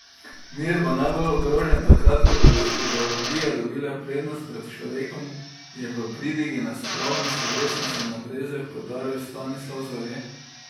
Mir bo najbolj ogrožen takrat, ko bodo ideologije dobile prednost pred človekom, je v pridigi na spravni slovesnosti na Brezjah poudaril Stanislav Zore.